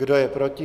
Kdo je proti?